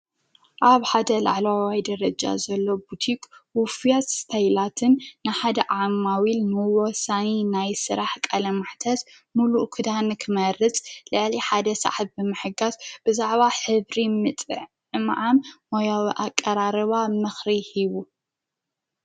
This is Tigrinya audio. ኣብ ሓደ ልዕለዋዋይ ደረጃ ዘሎ ቡቱቅ ዉፍያት ስተይላትን ንሓደ ዓማዊ ኢል ምዎሳኒ ናይ ሥራሕ ቃለማዕተስ ሙሉ ኽዳኒ ክመርጽ ለዓል ሓደ ሰሕ ብመሕጋስ ብዛዕባ ሕብሪ ምጥ እመዓም ሞያዊ ኣቐራርዋ ምኽሪ ሂቡ።